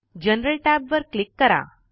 general tab वर click करा